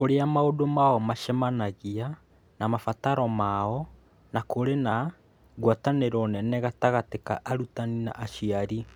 Kũrĩa maũndũ mao maacemanagia na mabataro mao na nĩ kũrĩ na ngwatanĩro nene gatagatĩ ka arutani na aciari